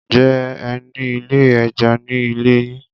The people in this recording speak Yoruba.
Ǹjẹ́ ẹ ní ilé ẹja ní ilé yín?